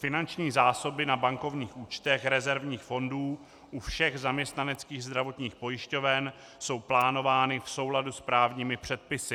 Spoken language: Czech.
Finanční zásoby na bankovních účtech rezervních fondů u všech zaměstnaneckých zdravotních pojišťoven jsou plánovány v souladu s právními předpisy.